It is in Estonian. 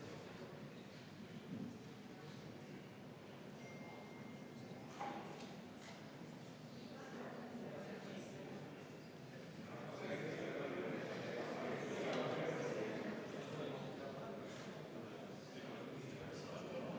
Jah, ma pidasin silmas, et siinsamas puldis valetas meile Riina Sikkut.